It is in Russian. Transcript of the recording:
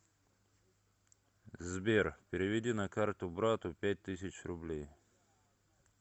сбер переведи на карту брату пять тысяч рублей